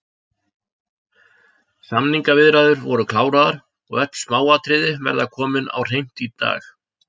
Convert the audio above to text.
Samningaviðræður voru kláraðar og öll smáatriði verða komin á hreint í dag